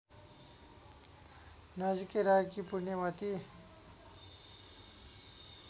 नजिकै रहेकी पुण्यमती